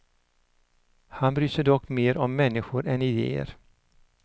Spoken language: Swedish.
Han bryr sig dock mer om människor än ideer.